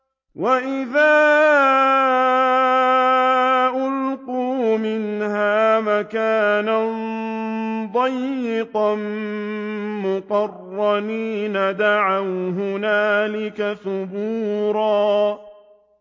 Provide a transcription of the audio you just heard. وَإِذَا أُلْقُوا مِنْهَا مَكَانًا ضَيِّقًا مُّقَرَّنِينَ دَعَوْا هُنَالِكَ ثُبُورًا